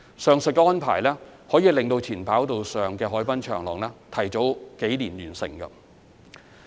上述安排能令前跑道上的海濱長廊提早數年落成。